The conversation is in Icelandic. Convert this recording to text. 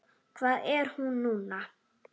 Hvar er hún núna?